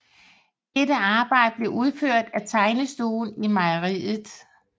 Dette arbejde blev udført af Tegnestuen Mejeriet